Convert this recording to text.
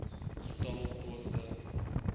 getal poste